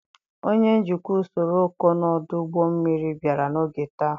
Onye njikwa usoro ọkọnọ ọdụ ụgbọ mmiri bịara n'oge taa.